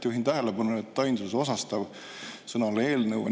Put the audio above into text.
Juhin tähelepanu, et sõna "eelnõu" on ainsuse osastavas ikkagi "eelnõu".